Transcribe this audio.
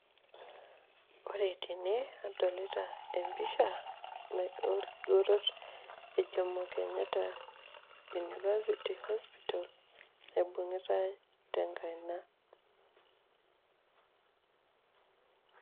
ore tene nadolita empisha. naata oekigeroto le jomo kenyatta University. naibung'itai tenkaina.